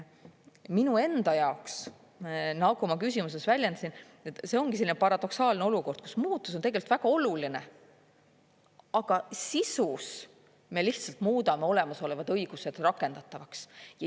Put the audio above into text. Minu enda jaoks, nagu ma küsimuses väljendasin, see ongi selline paradoksaalne olukord, kus muutus on tegelikult väga oluline, aga sisus me lihtsalt muudame olemasolevad õigused rakendatavaks.